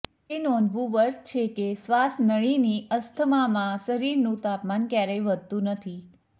તે નોંધવું વર્થ છે કે શ્વાસનળીની અસ્થમામાં શરીરનું તાપમાન ક્યારેય વધતું નથી